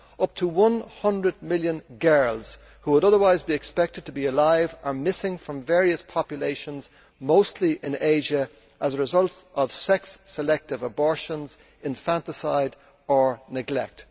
Up to one hundred million girls who would have otherwise been expected to be alive are missing from various populations mostly in Asia as a result of sex selective abortions, infanticide or neglect.